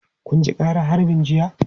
Kun ji ƙaran harbin jiya?